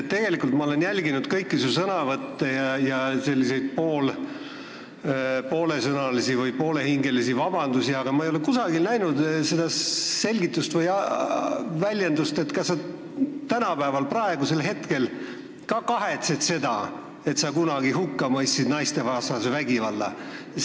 Tegelikult ma olen jälginud kõiki sinu sõnavõtte ja kõiki sinu nn poolesõnalisi või poolehingelisi vabandusi, aga ma ei ole kusagilt aru saanud, kas sa täna, praegusel hetkel ka kahetsed seda, et sa kunagi naistevastase vägivalla hukka mõistsid.